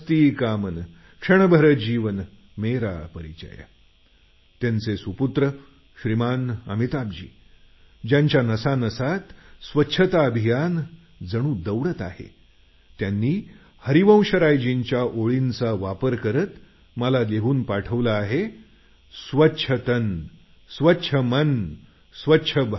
अमिताभजींनी स्वत हरिवंशरायजींच्या मिट्टी का तन मस्ती का मन क्षणभर जीवन मेरा परिचय या ओळींचा वापर करत मला एक छान पत्र लिहून पाठवलं